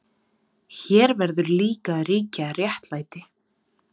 Hér verður líka að ríkja réttlæti.